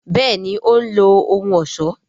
béèni òun lo ohùn ọṣọ.